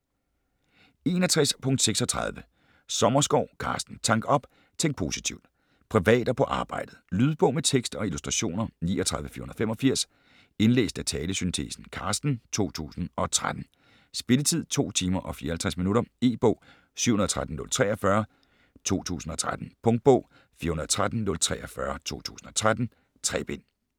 61.36 Sommerskov, Carsten: Tank op - tænk positivt Privat og på arbejdet. Lydbog med tekst og illustrationer 39485 Indlæst af talesyntesen Carsten, 2013. Spilletid: 2 timer, 54 minutter. E-bog 713043 2013. Punktbog 413043 2013. 3 bind.